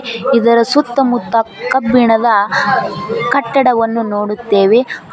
ಇದರ ಸುತ್ತಮುತ್ತ ಕಬ್ಬಿಣದ ಕಟ್ಟಡವನ್ನು ನೋಡುತ್ತೇವೆ.